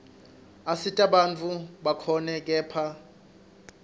asita bantfu bakhone kephla